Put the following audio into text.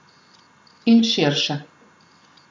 In širše.